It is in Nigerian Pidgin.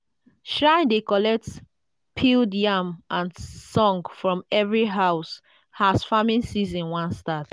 shrine dey collect peeled yam and song from every house as farming season wan start.